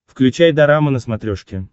включай дорама на смотрешке